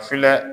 Filɛ